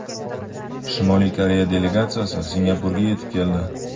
Shimoliy Koreya delegatsiyasi Singapurga yetib keldi.